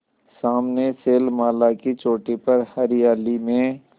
सामने शैलमाला की चोटी पर हरियाली में